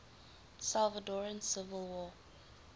salvadoran civil war